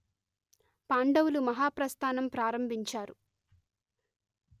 పాండవులు మహాప్రస్థానం ప్రారంభించారు